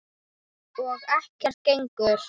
Og ekkert gengur.